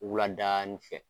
Wula daani fɛ.